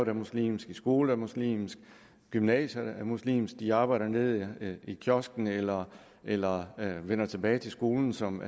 er muslimsk i skole der er muslimsk i gymnasiet der er muslimsk de arbejder nede i kiosken eller eller vender tilbage til skolen som